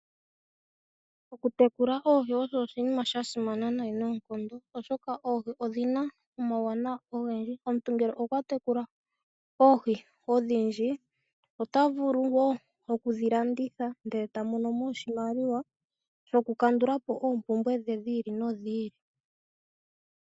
Okutekula oohi osho oshinima shasimana nayi noonkondo, oshoka oohi odhina omauwanawa ogendji. Omuntu ngele okwa tekula oohi odhindji ota vulu wo okudhi landitha ndele tamono oshimaliwa shokukandulapo oompumbwe dhiili nodhili.